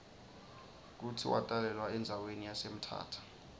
kutsi watalelwa endzawani yase mthatha